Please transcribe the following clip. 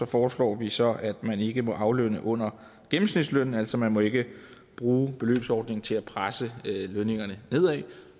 foreslår vi så at man ikke må aflønne under gennemsnitslønnen altså man må ikke bruge beløbsordningen til at presse lønningerne nedad